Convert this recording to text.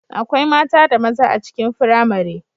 Akwai mata da maza a cikin firamare